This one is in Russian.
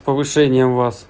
повышением вас